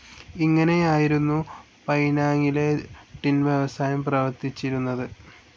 ഇങ്ങനെയായിരുന്നു പൈനാങിലെ ടിൻ വ്യവസായം പ്രവർത്തിച്ചിരുന്നത്.